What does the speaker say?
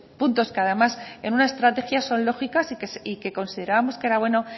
puntos que además en una estrategia son lógicas y que consideramos que era bueno